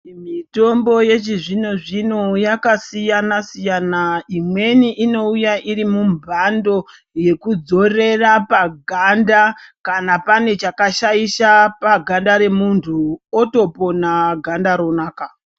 Mitombo yechizvino zvino yakasiyana siyana imweni inouya iri mumbando yekudzorera paganda kana pane chakashaisha paganda remundu otopona Ganda ronaka .